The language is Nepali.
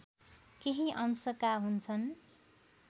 केही अंशका हुन्छन्